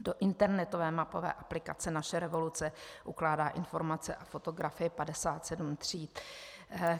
Do internetové mapové aplikace Naše revoluce ukládá informace a fotografie 57 tříd.